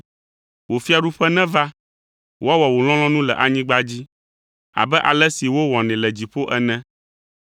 wò fiaɖuƒe neva, woawɔ wò lɔlɔ̃nu le anyigba dzi abe ale si wowɔnɛ le dziƒo ene.